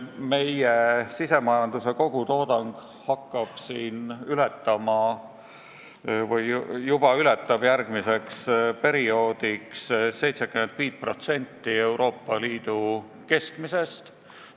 Meie sisemajanduse kogutoodang hakkab ületama või juba ületab järgmiseks perioodiks 75% Euroopa Liidu keskmisest.